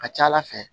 A ka ca ala fɛ